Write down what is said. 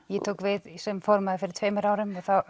ég tók við sem formaður fyrir tveimur árum og